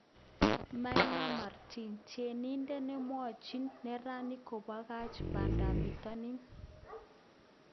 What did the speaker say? Maina martin:Tienidet nemwochin neranik kobakach bandap bitonin